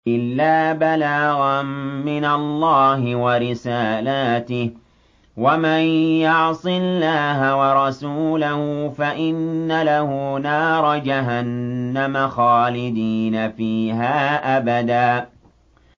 إِلَّا بَلَاغًا مِّنَ اللَّهِ وَرِسَالَاتِهِ ۚ وَمَن يَعْصِ اللَّهَ وَرَسُولَهُ فَإِنَّ لَهُ نَارَ جَهَنَّمَ خَالِدِينَ فِيهَا أَبَدًا